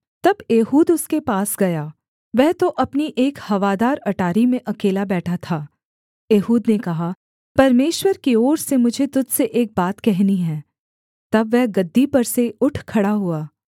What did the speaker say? तब एहूद उसके पास गया वह तो अपनी एक हवादार अटारी में अकेला बैठा था एहूद ने कहा परमेश्वर की ओर से मुझे तुझ से एक बात कहनी है तब वह गद्दी पर से उठ खड़ा हुआ